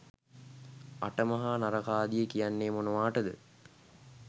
අට මහා නරකාදිය කියන්නේ මොනවාටද?